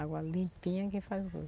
Água limpinha que faz